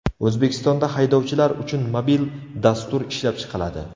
O‘zbekistonda haydovchilar uchun mobil dastur ishlab chiqiladi.